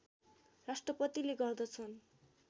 राष्ट्रपतिले गर्दछन्